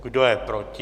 Kdo je proti?